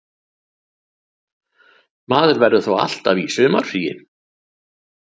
Maður verður þá alltaf í sumarfríi